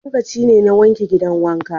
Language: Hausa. Lokacina ne n'wanke gidan wanka.